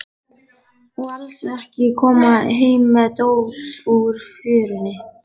Og alls ekki koma heim með dót úr fjörunni.